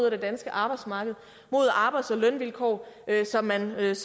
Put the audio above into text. af det danske arbejdsmarked mod arbejds og lønvilkår som man ellers